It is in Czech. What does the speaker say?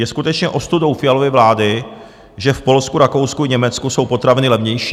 Je skutečně ostudou Fialovy vlády, že v Polsku, Rakousku i Německu jsou potraviny levnější.